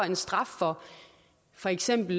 en straf for for eksempel